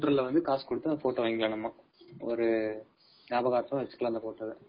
Counter ல வந்து காசு குடுத்து வாங்கிக்கலாம் அந்த photo வ நியாபக அடுத்தம வச்சுக்கலாம் அந்த photo வ.